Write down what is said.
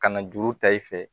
Ka na juru ta i fɛ